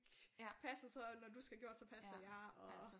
Passe og så når du skal have gjort så passer jeg og